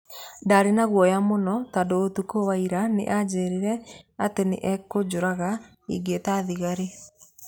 Ndaarĩ na guoya mũno, tondũ ũtukũ wa ira nĩ aanjĩrire atĩ nĩ egũnjũraga ingĩĩta thigari.